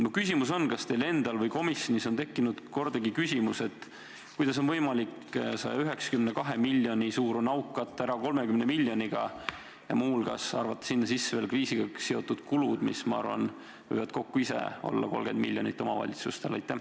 Mu küsimus on järgmine: kas teil endal või kellelgi komisjonis ei tekkinud kordagi küsimust, kuidas on võimalik 192 miljoni suurune auk katta 30 miljoniga ja muu hulgas arvata sinna sisse veel kriisiga seotud kulud, mis, ma arvan, võivad ise kokku olla 30 miljonit?